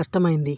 కష్టమయ్యింది